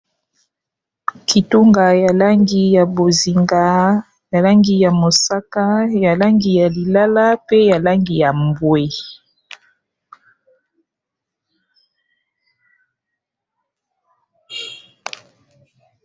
kitunga ya langi ya bozinga ya langi ya mosaka ya langi ya lilala pe ya langi ya mbwe